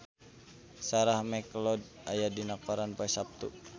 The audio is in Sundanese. Sarah McLeod aya dina koran poe Saptu